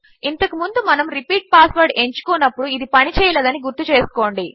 ఇంతకు ముందు మనము రిపీట్ పాస్వర్డ్ ఎంచుకోనప్పుడు ఇది పని చేయలేదని గుర్తుంచేసుకోండి